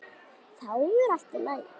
Þá er allt í lagi.